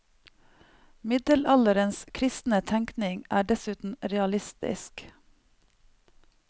Middelalderens kristne tenkning er dessuten realistisk.